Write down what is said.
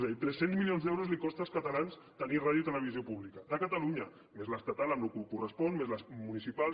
és a dir tres cents milions d’euros els costa als catalans tenir ràdio i televisió públiques de catalunya més l’estatal amb el que correspon més les municipals